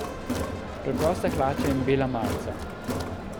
Preproste hlače in bela majica?